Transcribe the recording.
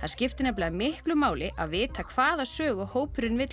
það skiptir miklu máli að vita hvaða sögu hópurinn vill